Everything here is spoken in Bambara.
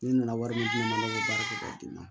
Ne nana wari min d'u ma ne bɛ baara kɛ k'a d'i ma